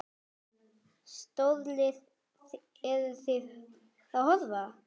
Stórlið, eru Þið að horfa?